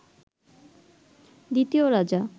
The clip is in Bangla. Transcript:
দ্বিতীয় রাজা